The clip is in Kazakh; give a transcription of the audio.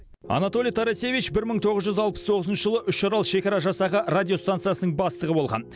анатолий тарасевич бір мың тоғыз жүз алпыс тоғызыншы жылы үшарал шекара жасағы радиостанциясының бастығы болған